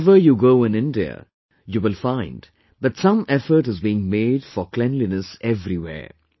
Wherever you go in India, you will find that some effort is being made for cleanliness everywhere